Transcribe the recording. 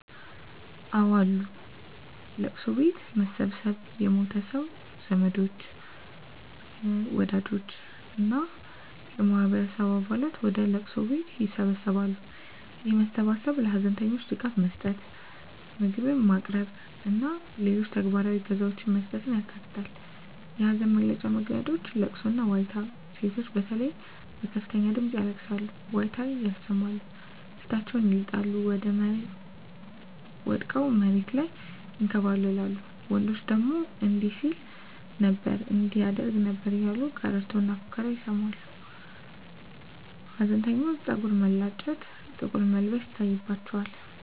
አወ አሉ፦ ለቅሶ ቤት መሰብሰብ የሞተው ሰው ዘመዶች፣ ወዳጆች እና የማህበረሰቡ አባላት ወደ ለቅሶ ቤት ይሰበሰባሉ። ይህ መሰባሰብ ለሀዘንተኞች ድጋፍ መስጠት፣ ምግብ ማቅረብ እና ሌሎች ተግባራዊ እገዛዎችን መስጠትን ያካትታል። የሀዘን መግለጫ መንገዶች * ለቅሶና ዋይታ: ሴቶች በተለይ በከፍተኛ ድምጽ ያለቅሳሉ፣ ዋይታ ያሰማሉ፣ ፊታቸውን ይልጣሉ፣ ወድቀው መሬት ላይ ይንከባለላሉ፤ ወንዶች ደግሞ እንዲህ ሲል ነበር እንዲህ ያደርግ ነበር እያሉ ቀረርቶና ፉከራ ያሰማሉ። ሀዘንተኞች ፀጉር መላጨት፣ ጥቁር መልበስ ይታይባቸዋል።